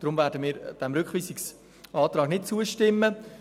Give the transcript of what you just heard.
Deshalb werden wir dem Rückweisungsantrag nicht zustimmen.